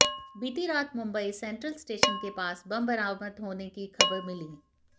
बीती रात Mumbai central station के पास बम बरामद होने की खबर मिली